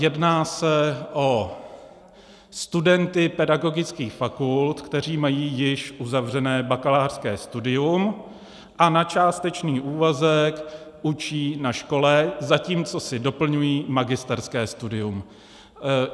Jedná se o studenty pedagogických fakult, kteří mají již uzavřené bakalářské studium a na částečný úvazek učí na škole, zatímco si doplňují magisterské studium.